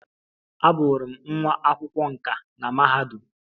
Abụrụ m nwa akwụkwọ nkà na mahadum.